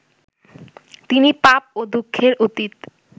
তিনি পাপ ও দুঃখের অতীত